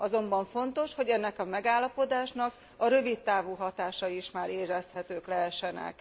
Azonban fontos, hogy ennek a megállapodásnak a rövid távú hatási is már érezhetők lehessenek.